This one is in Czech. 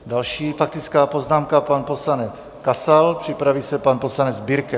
Další faktická poznámka - pan poslanec Kasal, připraví se pan poslanec Birke.